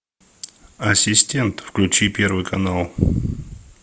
ассистент включи первый канал